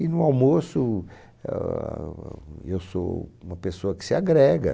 E no almoço, eah, ah, eu sou uma pessoa que se agrega.